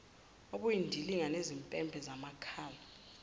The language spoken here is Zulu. obuyindilinga nezimpempe zamakhala